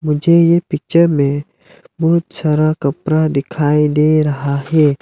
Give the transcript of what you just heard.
मुझे ये पिक्चर में बहुत सारा कपड़ा दिखाई दे रहा है।